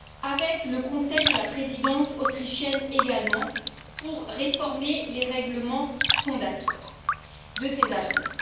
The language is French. avec le Conseil et la Présidence autrichienne également, pour réformer les règlements fondateurs de ces agences.